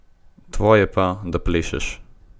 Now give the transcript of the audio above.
Tvoje pa, da plešeš.